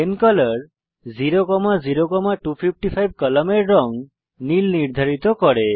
pen colour 00255 কলমের রঙ নীল নির্ধারিত করে